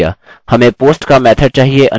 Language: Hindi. मैं उसे सम्मिलित करना भूल गया